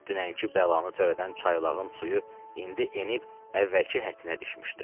Dünənki bəlanı törədən çaylağın suyu indi enib əvvəlki həddinə düşmüşdü.